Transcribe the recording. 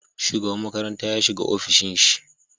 Shugaban makaranta ya shiga ofishin shi